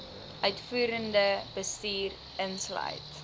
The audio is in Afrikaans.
uitvoerende bestuur insluit